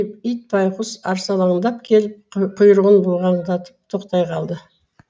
ит байғұс арсалаңдап келіп құйрығын бұлғаңдатып тоқтай қалды